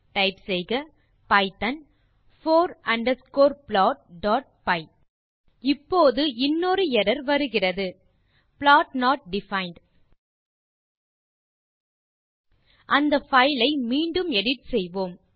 type செய்க python for underscore plotபை இப்போது இன்னொரு எர்ரர் வருகிறது ப்ளாட் நோட் டிஃபைண்ட் அந்த பைல் ஐ மீண்டும் எடிட் செய்வோம்